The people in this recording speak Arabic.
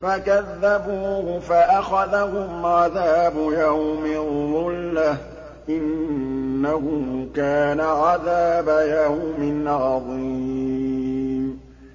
فَكَذَّبُوهُ فَأَخَذَهُمْ عَذَابُ يَوْمِ الظُّلَّةِ ۚ إِنَّهُ كَانَ عَذَابَ يَوْمٍ عَظِيمٍ